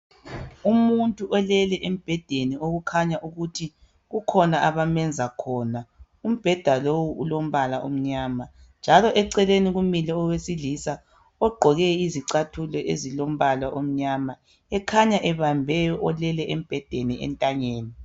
Umuntu olele embhedeni okukhanya ukuthi kukhona abamenza khona umbheda lo ulombala omnyama njalo eceleni kumile owesilisa ogqoke izicathulo ezolilombala omnyama ekhanya ebambe olele embhedeni entanyeni.